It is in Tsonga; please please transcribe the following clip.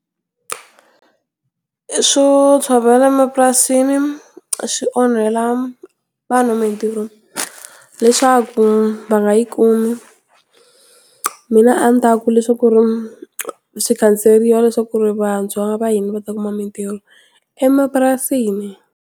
Swo tshovela mapurasini swi onhela vanhu mintirho leswaku, va nga yi kumi. Mina a ni ta ku leswaku ri swi khanseriwa leswaku ku ri vantshwa va hina va ta kuma mintirho, emapurasini.